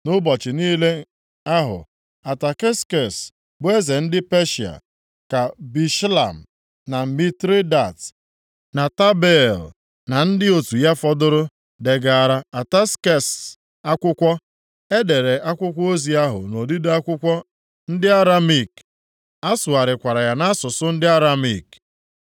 Nʼụbọchị niile ahụ Ataksekses bụ eze ndị Peshịa, ka Bishlam, na Mitredat, na Tabeel, na ndị otu ya fọdụrụ degaara Ataksekses akwụkwọ. E dere akwụkwọ ozi ahụ nʼodide akwụkwọ ndị Aramaik, a sụgharịkwara ya nʼasụsụ Aramaik.